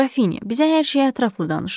Qrafinya, bizə hər şeyi ətraflı danışın.